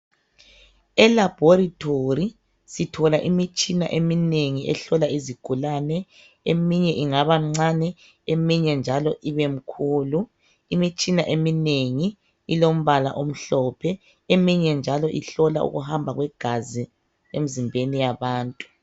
Elaboratory sithola imitshina eminengi ehlola izigulane eminye ingaba mncane eminye njalo ibe mkhulu, imitshina eminengi ilombala omhlophe eminye njalo ihlola ukuhamba kwegazi emizimbeni yabantu.